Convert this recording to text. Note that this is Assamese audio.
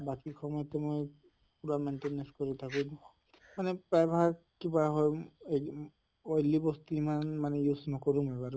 বাকী সময়তো মই maintenance কৰি থাকো অলপ কিবা হʼল oily বস্তু মানে use নকৰোঁ